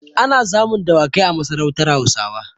Ana samun dawakai a masarautar Hausawa.